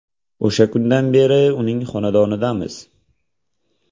O‘sha kundan beri uning xonadonidamiz.